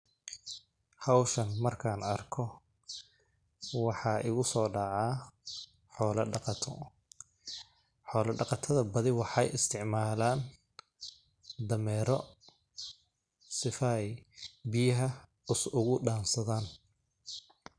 Hawshan marka aan arko waxaa igusoo dhacaa xoola dhaqato ,xoola dhaqatada badi waxeey isticmalaan dameero sifa ay biyaha ugu dhaansadaan.